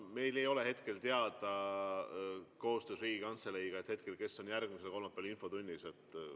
Meil ei ole hetkel koostöös Riigikantseleiga teada, kes on järgmisel kolmapäeval infotunnis.